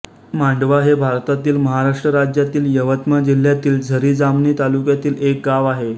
मांडवा हे भारतातील महाराष्ट्र राज्यातील यवतमाळ जिल्ह्यातील झरी जामणी तालुक्यातील एक गाव आहे